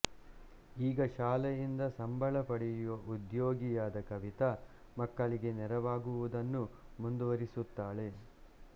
ಈಗ ಶಾಲೆಯಿಂದ ಸಂಬಳ ಪಡೆಯುವ ಉದ್ಯೋಗಿಯಾದ ಕವಿತಾ ಮಕ್ಕಳಿಗೆ ನೆರವಾಗುವುದನ್ನು ಮುಂದುವರಿಸುತ್ತಾಳೆ